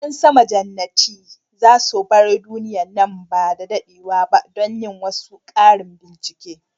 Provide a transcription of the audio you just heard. Yan sama jannatin za su bar duniya nan ba da dadewa ba don yin wasu karin bincike.